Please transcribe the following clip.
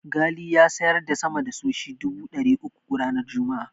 Ghali ya siyar da sama da sushi dubu ɗari uku ranar Juma'a.